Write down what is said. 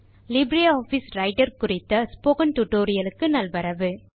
Libre Office Writer குறித்த spoken டுடோரியலுக்கு நல்வரவு